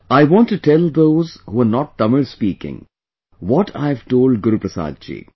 I want to tell those who are not Tamil speaking, what I have told Guruprasad ji